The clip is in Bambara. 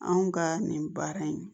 Anw ka nin baara in